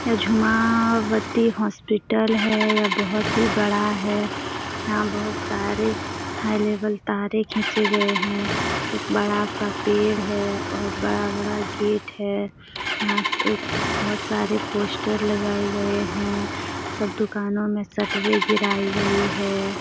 यह झुमावती हॉस्पिटल है ये बहुत ही बड़ा है यहां बहुत सारे हाई लेवल तारे खींचे गए हैं एक बड़ा सा पेड़ है और बड़ा- बड़ा गेट है यहां एक बहुत सारे पोस्टर लगाए गए हैं सब दुकानों में शटरे गिराई गई है।